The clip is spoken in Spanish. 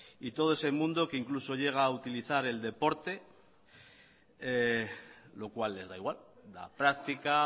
y todo ese mundo que incluso llega a utilizar el deporte lo cual les da igual la práctica